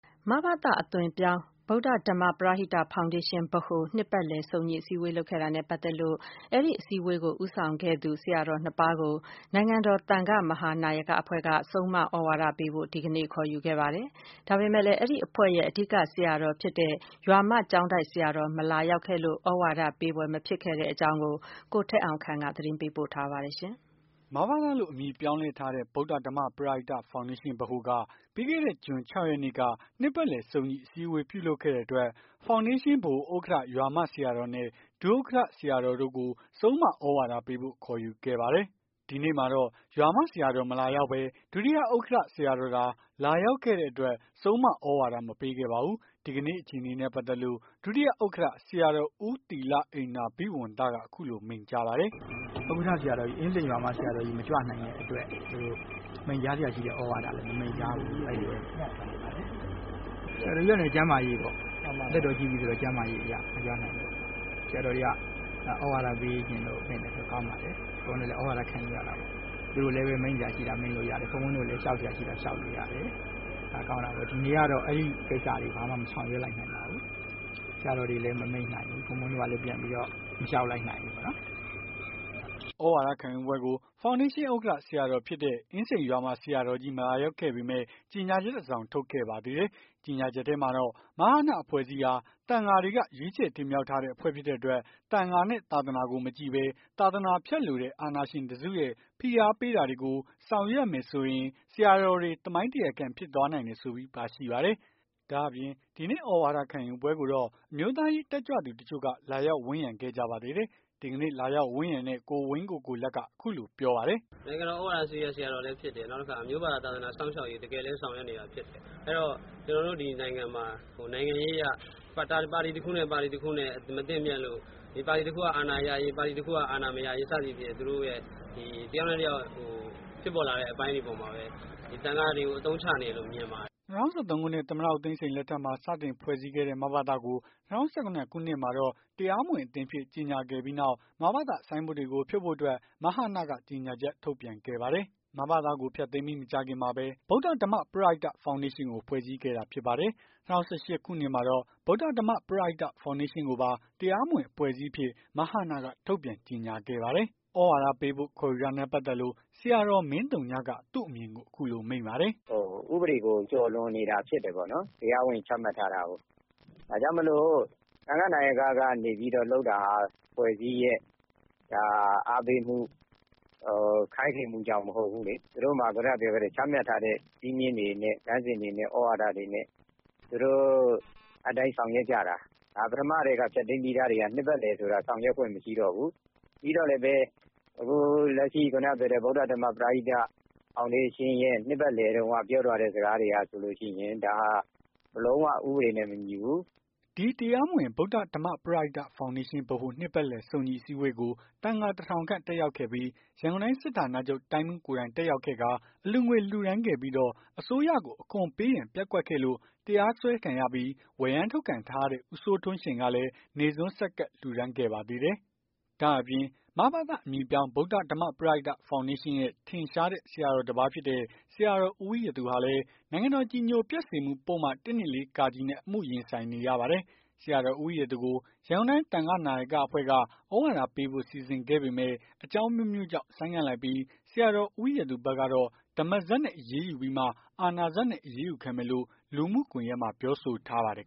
မဘသ အသွင်ပြောင်း ဗုဒ္ဓဓမ္မ ပရဟိတဖောင်ဒေးရှင်း နှစ်ပတ်လည်စုံညီအစည်းအဝေး လုပ်ခဲ့တာနဲ့ ပတ်သက်လို့ အဲဒီအစည်းအဝေး ဦးဆောင်ဆရာတော် နှစ်ပါးကို နိုင်ငံတော် သံဃာ့မဟာနာယကအဖွဲ့က ဆုံးမ သြဝါဒပေးဖို့ ဒီကနေ့ ခေါ်ယူခဲ့ပါတယ်။ ဒါပေမယ့်လည်း အဲဒီအဖွဲ့ရဲ့ အဓိက ဆရာတော်ဖြစ်တဲ့ ရွာမကျောင်းတိုက်ဆရာတော်မလာရောက်ခဲ့လို့ သြဝါဒ မပေး ဖြစ်ခဲ့တဲ့အကြောင်း ကိုထက်အောင်ခန့်က သတင်းပေးပို့ထားပါတယ်။ မဘသအသွင်ပြောင်း ဗုဒ္ဓဓမ္မပရဟိတ ဖောင်ဒေးရှင်း က ပြီးခဲ့တဲ့ ဂျွန် ၆ ရက်နေ့က နှစ်ပတ်လည် စုံညီအစည်းအဝေး ပြုလုပ်ခဲ့တဲ့အတွက် ဖောင်ဒေးရှင်း ဗဟိုဥက္ကဌ ရွာမ ဆရာတော်နဲ့ ဒုက္ကဌ ဆရာတော်တို့ကို ဆုံးမသြဝဒါ ပေးဖို့ ခေါ်ယူခဲ့ပါတယ်။ ဒီနေ့မှာတော့ ရွာမ ဆရာတော်က မလာရောက်ဘဲ ဒုတိယဥက္ကဌ ဆရာတော်သာ လာရောက်ခဲ့တဲ့အတွက် ဆုံးမ သြဝါဒ မပေးခဲ့ပါဘူး။ ဒီကနေ့ အခြေအနေနဲ့ ပတ်သက်လို့ ဒုတိယဥက္ကဌ ဆရာတော် ဥူးသီလက္နန္ဓာဘိဝံသက အခုလိုမိန့်ကြားပါတယ်။ "ဥက္ကဌ ဆရာတော်ကြီး အင်းစိန်ရွာမ ဆရာတော်ကြီး မကြွနိုင်တဲ့အတွက် မိန့်ကြားစရာရှိတဲ့ သြဝါဒလည်း မမိန့်ကြားဘူး။ ဆရာတော်ကြီးက ကျန်းမာရေးပေါ့။ သက်တော်ကြီးပြီဆိုတော့ ကျန်းမာရေးကြောင့် မကြွနိုင်ဘူး ပေါ့။ ဆရာတော်တွေက သြဝါဒပေးချင်လို့ ပင့်တယ်ဆိုတာ ကောင်းပါတယ်။ ဘုန်းဘုန်းတို့လည်း သြဝါဒ ခံယူ ရတာပေါ့။ သူတို့လည်း မိန့်စရာရှိတာ မိန့်လို့ရတယ်။ ဘုန်းဘုန်းတို့လည်း လျှောက်စရာရှိတာ လျှောက်လို့ရ တယ်။ ဒါကောင်းတာပဲ။ ဒီနေ့ကတော့ အဲ့ကိစ္စတွေ ဘာမှ မဆောင်ရွက်လိုက်နိုင်ပါဘူး။ ဆရာတော်တွေလည်း မမိန့်နိုင်ဘူး ဘုန်းဘုန်းတို့ကလည်း ပြန်ပြီးတော့ မလျှောက်လိုက်နိုင်ဘူးပေါ့။" သြဝါဒခံယူပွဲကို ဖောင်းဒေးရှင်း ဥက္ကဌ ဆရာတော်ဖြစ်တဲ့ အင်းစိန်ရွာမ ဆရာတော်ကြီး မလာရောက်ခဲ့ပေမယ့် ကြေညာချက်တစောင်ထုတ်ခဲ့ပါတယ်။ ကြေညာချက်ထဲမှာတော့ မဟန အဖွဲ့အစည်းဟာ သံဃာတွေက ရွေးချယ်တင်မြှောက်ထားတဲ့ အဖွဲ့ဖြစ်တဲ့အတွက် သံဃာနဲ့ သာသနာကို မကြည့်ဘဲ သာသနာဖျက်လိုတဲ့ အာဏာရှင်တစုရဲ့ ဖိအားပေး တာတွေကို ဆောင်ရွက်မယ်ဆိုရင် ဆရာတော်တွေ သမိုင်းတရားခံ ဖြစ်သွားနိုင်တယ်ဆိုပြီး ပါရှိပါတယ်။ ဒါ့အပြင် ဒီနေ့သြဝါဒခံယူပွဲကိုတော့ အမျိုးသားရေး တက်ကြွသူတချို့က လာရောက် ဝန်းရံခဲ့ကြပါသေးတယ်။ ဒီကနေ့ လာရောက်ဝန်းရံတဲ့ ကိုဝင်းကိုကိုလတ်ကတော့ အခုလိုပြောပါတယ်။ "နိုင်ငံတော် သြဝါဒစရိရ ဆရာတော်လည်းဖြစ်တယ်။ အမျိုးဘာသာ သာသနာစောင့်ရှောက်ရေး တကယ်လည်း ဆောင်ရွက်နေတာဖြစ်တယ်။ အဲ့တော့ ကျွန်တော်တို့ဒီနိုင်ငံမှာ နိုင်ငံရေးအရ ပါတီတခုနဲ့ပါတီတခုနဲ့ မသင့်မြတ်လို့ ပါတီတခုက အာဏာရရေး ပါတီတခုက အာဏာမရရေး သူတို့ရဲ့ ဖြစ်ပေါ်လာတဲ့ အပိုင်းတွေ အပေါ်မှာလည်း သံဃာတွေကို အသုံးချနေတယ်လို့ မြင်ပါတယ်။" ၂၀၁၃ ခုနှစ် သမ္မတ ဦးသိန်းစိန်လက်ထက်မှာ စတင်ဖွဲ့စည်းခဲ့တဲ့ မဘသကို ၂၀၁၇ ခုနှစ်မှာတော့ တရားမဝင် အသင်းအဖြစ် ကြေညာခဲ့ပြီးနောက် မဘသ ဆိုင်းဘုတ်တွေကို ဖြုတ်ဖို့အတွက် မဟနက ကြေညာချက် ထုတ်ပြန်ခဲ့ပါတယ်။ မဘသကို ဖျက်သိမ်းပြီး မကြာခင်မှာပဲ ဗုဒ္ဓဓမ္မပရဟိတ ဖောင်ဒေးရှင်းကို ဖွဲ့စည်းခဲ့တာဖြစ်ပါတယ်။ ၂၀၁၈ ခုနှစ်မှာတော့ ဗုဒ္ဓဓမ္မပရဟိတ ဖောင်ဒေးရှင်းကိုပါ တရားမဝင်အဖွဲ့အစည်းအဖြစ် မဟနက ထုတ်ပြန် ကြေညာခဲ့ပါတယ်။ သြဝါဒပေးဖို့ ခေါ်ယူတာနဲ့ ပတ်သက်လို့ ဆရာတော်မင်းသုညက သူ့အမြင်ကို အခုလို မိန့်ပါတယ်။ "ဥပဒေကို ကျော်လွန်နေတာဖြစ်တယ်။ တရားဝင်ချမှတ်ထားတာကို ဒါကြောင့်မို့လို့ သံဃာ့နာယက ကနေပြီးတော့လုပ်တာဟာ အဖွဲ့အစည်းရဲ့ အားပေးမှု ခိုင်းစေမှုကြောင့်မဟုတ်ဘူး။ သူတို့မှာ ခုနက ပြောခဲ့တဲ့ ချမှတ်ထားတဲ့ စည်းမျဉ်းတွေနဲ့ သြဝါဒတွေနဲ့ သူတို့အဲဒီတိုင်း ဆောင်ရွက်ကြတာ။ ဒါပထမကတည်းက ဖျက်သိမ်း ပြီးသားဆိုတာ နှစ်ပတ်လည်ဆိုတာ အစကတည်းက ဆောင်ရွက်ခွင့်မရှိဘူး။ ပြီးတော့လည်းပဲ အခုလက်ရှိ ဗုဒ္ဓဓမ္မ ပရဟိတ ဖောင်ဒေးရှင်းရဲ့ နှစ်ပတ်လည်တုန်းက ပြောသွားတဲ့ စကားတွေဟာဆိုရင် ဒါဟာ လုံး၀ ဥပဒေနဲ့ မညီဘူး။" ဒီတရားမဝင်ဗုဒ္ဓဓမ္မပရဟိတ ဖောင်ဒေးရှင်း နှစ်ပတ်လည် စုံညီအစည်းအဝေးကို သံဃာ ၁၀၀၀ ခန့် တက်ရောက်ခဲ့ပြီး ရန်ကုန်တိုင်းစစ်ဌာနချုပ် တိုင်းမှူးကိုယ်တိုင်တက်ရောက်ခဲ့ပြီး အလှူငွေလှူဒါန်းခဲ့ပြီးတော့ အစိုးရကို အခွန်ပေးရန် ပျက်ကွက်ခဲ့လို့ တရားစွဲခံရပြီး ဝရမ်းထုတ်ခံထားရတဲ့ ဦးစိုးထွန်းရှိန်ကလည်း နေ့ဆွမ်း ဆက်ကပ် လှူဒါန်းခဲ့ပါသေးတယ်။ ဒါ့အပြင် မဘသ အမည်ပြောင်း ဗုဒ္ဓဓမ္မပရဟိတ ဖောင်ဒေးရှင်းရဲ့ ထင်ရှားတဲ့ ဆရာတော် တပါးဖြစ်တဲ့ ဆရာတော် ဦးဝီရသူဟာလည်း နိုင်ငံတော် အကြည်ညိုပျက်စေမှု ပုဒ်မ ၁၂၄ နဲ့ အမှုရင်ဆိုင်နေရ ပါတယ်။ ဆရာတော် ဦးဝီရသူကို ရန်ကုန်တိုင်း သံဃာ့ နာယာကအဖွဲ့က သြဝါဒပေးဖို့ စီစဉ်ခဲ့ပေမယ့် အကြောင်း အမျိုးမျိုးကြောင့် ဆိုင်းငံ့လိုက်ပြီး ဆရာတော် ဦးဝီရသူဘက်ကတော့ ဓမ္မစက်နဲ့ အရေးယူပြီးမှ အာဏာစက်နဲ့ အရေးယူခံမယ်လို့ လူမှုကွန်ယက်မှာ ပြောဆိုထားပါတယ်